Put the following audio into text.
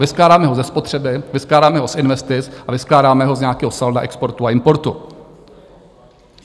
Vyskládáme ho ze spotřeby, vyskládáme ho z investic a vyskládáme ho z nějakého salda exportu a importu.